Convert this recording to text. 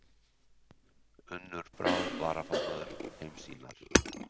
Unnur Brá varaformaður Heimssýnar